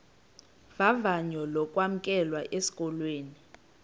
vavanyo lokwamkelwa esikolweni